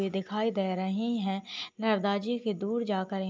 ये दिखाई दे रही है| नरदा जी के दूर जाकर --